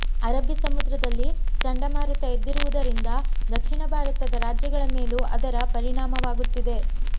ಅರಬ್ಬಿ ಸಮುದ್ರದಲ್ಲಿ ಚಂಡಮಾರುತ ಎದ್ದಿರುವುದರಿಂದ ದಕ್ಷಿಣ ಭಾರತದ ರಾಜ್ಯಗಳ ಮೇಲೂ ಅದರ ಪರಿಣಾಮವಾಗುತ್ತಿದೆ